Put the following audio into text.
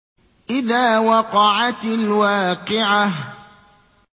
إِذَا وَقَعَتِ الْوَاقِعَةُ